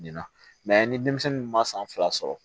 Na ni denmisɛnnin ma san fila sɔrɔ